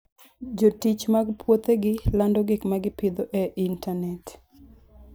Jotich mag puothegi lando gik ma gipidho e intanet.